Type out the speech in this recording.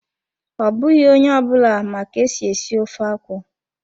Ọ bụghị onye ọ bụla ma ka-esi esi ofe akwụ.